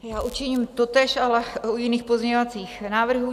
Já učiním totéž, ale u jiných pozměňovacích návrhů.